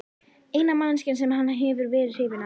Eina manneskjan sem hann hefur verið hrifinn af.